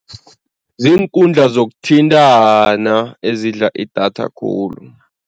Ziinkundla zokuthintana ezidla idatha khulu.